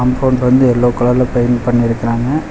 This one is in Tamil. கம்பவுண்ட் வந்து எல்லோ கலர்ல பெயிண்ட் பண்ணிருக்கறாங்க.